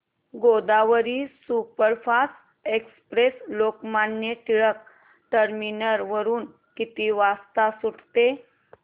Godavari superfast express Lokmanya Tilak terminus वरून किती वाजता सुटते